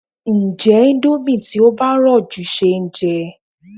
Ǹjé indomie tí ó bá rọ̀ jù ṣeéjẹ?